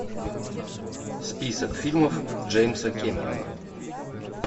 список фильмов джеймса кэмерона